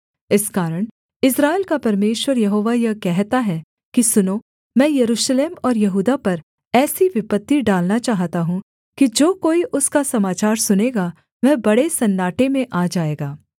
इस कारण इस्राएल का परमेश्वर यहोवा यह कहता है कि सुनो मैं यरूशलेम और यहूदा पर ऐसी विपत्ति डालना चाहता हूँ कि जो कोई उसका समाचार सुनेगा वह बड़े सन्नाटे में आ जाएगा